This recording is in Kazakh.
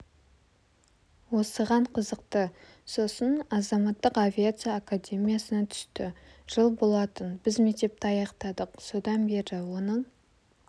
осыған қызықты сосын азаматтық авиация академиясына түсті жыл болатын біз мектепті аяқтадық содан бері оның